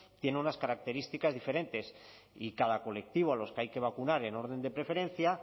tiene unas características diferentes y cada colectivo a los que hay que vacunar en orden de preferencia